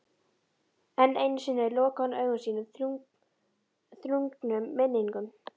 Enn einu sinni lokaði hún augum sínum þrungnum minningum.